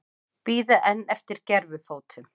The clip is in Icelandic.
Bíða enn eftir gervifótum